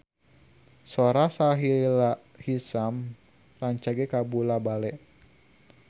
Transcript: Sora Sahila Hisyam rancage kabula-bale